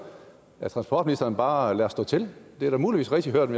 at transportministeren bare lader stå til det er muligvis rigtigt hørt